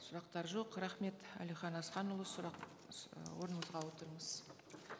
сұрақтар жоқ рахмет әлихан асханұлы сұрақ орныңызға отырыңыз